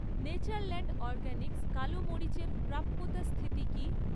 Natureland Organics কালো মরিচের প্রাপ্যতা স্থিতি কী?